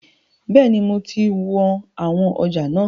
Bẹ́ẹ̀ni, mo ti wọn àwọn ọjà náà.